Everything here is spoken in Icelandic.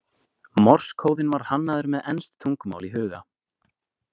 Morsekóðinn var hannaður með enskt tungumál í huga.